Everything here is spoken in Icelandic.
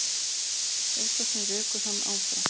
Eitthvað sem rekur hann áfram.